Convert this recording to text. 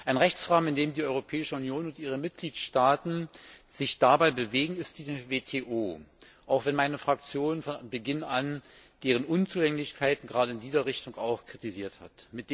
Ein Rechtsrahmen, in dem sich die Europäische Union und ihre Mitgliedstaaten dabei bewegen, ist die WTO, auch wenn meine Fraktion von Beginn an deren Unzulänglichkeiten gerade in diesem Zusammenhang kritisiert hat.